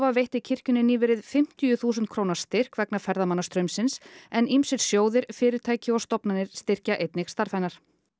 veitti kirkjunni nýverið fimmtíu þúsund króna styrk vegna ferðamannastraumsins en ýmsir sjóðir fyrirtæki og stofnanir styrkja einnig starf hennar